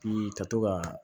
Bi ka to ka